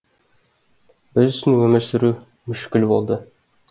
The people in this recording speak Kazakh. біз үшін өмір сүру мүшкіл болды